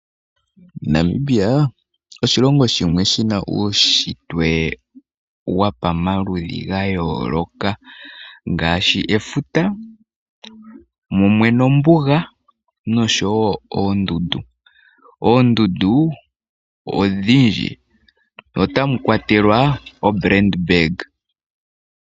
Namibia oshilongo shimwe shina uunshitwe wopamaludhi gayoolola ngaashi, efuta mumwe nombuga nosho wo oondundu. Oondundu odhindji otamukwatelwa oBrand bag.